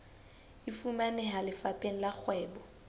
e fumaneha lefapheng la kgwebo